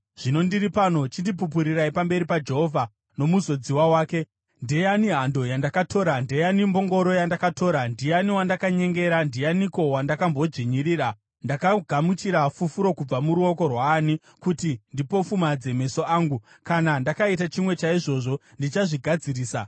Zvino ndiri pano. Chindipupurirai pamberi paJehovha nomuzodziwa wake. Ndeyani hando yandakatora? Ndeyani mbongoro yandakatora? Ndiani wandakanyengera? Ndianiko wandakambodzvinyirira? Ndakagamuchira fufuro kubva muruoko rwaani kuti ndipofumadze meso angu? Kana ndakaita chimwe chaizvozvi, ndichazvigadzirisa.”